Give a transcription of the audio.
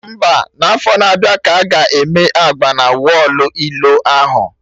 Mba, n'afọ na-abịa ka aga eme agba na wọlụ ilo ahụ